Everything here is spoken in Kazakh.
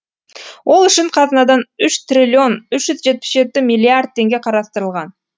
ол үшін қазынадан үш трлн үш жүз жетпіс жеті миллиард теңге қарастырылған